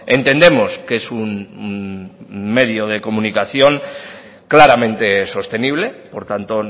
entendemos que es un medio de comunicación claramente sostenible por tanto